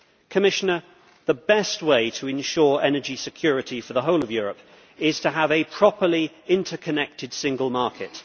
Commissioner, the best way to ensure energy security for the whole of Europe is to have a properly interconnected single market.